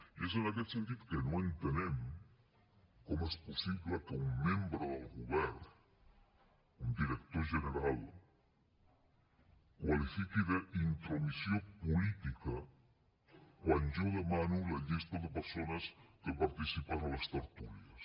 i és en aquest sentit que no entenem com és possible que un membre del govern un director general qualifiqui d’ intromissió política quan jo demano la llista de persones que participen a les tertúlies